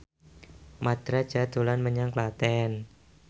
Mat Drajat dolan menyang Klaten